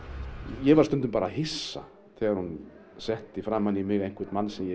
ég varð stundum bara hissa þegar hún setti framan í mig einhvern mann ég